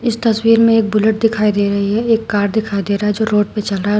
इस तस्वीर में एक बुलट दिखाई दे रही है एक कार दिखाई दे रहा है जो रोड पे चल रहा--